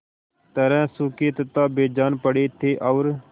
तरह सूखे तथा बेजान पड़े थे और